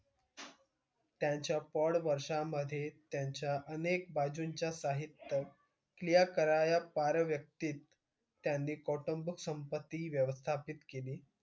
त्यांच्या प्रौढ वर्षांमध्ये त्यांचे अनेक बाजूंचे साहित्य क्रिया कराया पार व्यक्ती त्यांनी कौटुंबिक संपत्ती व्यवस्थापित केली.